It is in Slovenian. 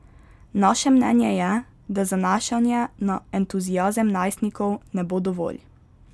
Naše mnenje je, da zanašanje na entuziazem najstnikov ne bo dovolj.